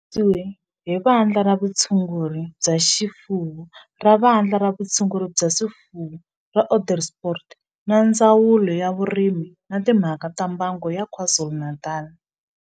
Xi kandziyisiwe hi Vandla ra Vutshunguri bya swifuwo ra Vandla ra Vutshunguri bya swifuwo ra Onderstepoort na Ndzawulo ya Vurimi na Timhaka ta Mbango ya KwaZulu-Natal.